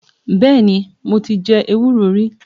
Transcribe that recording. Bẹ́ẹ̀ni mo ti je ewúro rí